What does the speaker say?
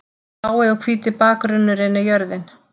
Blái og hvíti bakgrunnurinn er jörðin.